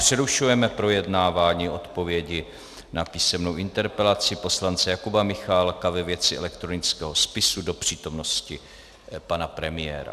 Přerušujeme projednávání odpovědi na písemnou interpelaci poslance Jakuba Michálka ve věci elektronického spisu do přítomnosti pana premiéra.